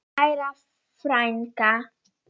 Kæra frænka.